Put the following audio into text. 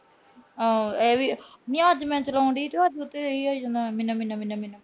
ਹਾਂ, ਇਹ ਵੀ। ਨੀ ਅੱਜ ਮੈਂ ਚਲਾਉਂਦੀ ਸੀ, ਉਹਤੇ ਇਹੀ ਜਾਂਦਾ ਸੀ ਨਮੀ-ਨਮੀ-ਨਮੀ-ਨਮੀ-ਨਮੀ